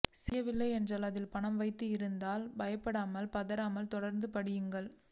செய்ய வில்லை என்றால் அதில் பணம் வைத்து இருந்தால் பயப்படாமல் பதாராமல் தொடர்ந்து படியுங்கள்